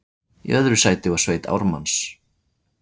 Í öðru sæti var sveit Ármanns